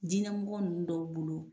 Dinɛmɔgɔ ninnu dɔw bolo.